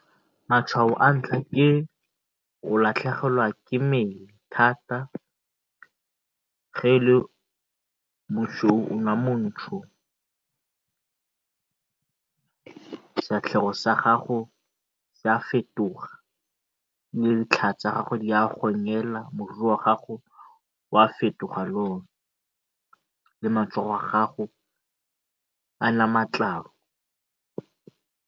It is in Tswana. Matshwao a ntlha ke go latlhegelwa ke mosweu o nna montsho. Sefatlhego sa gago se a fetoga le tsa gago di a gogela, moriri wa gago o a fetoga le one, le matsogo a gago a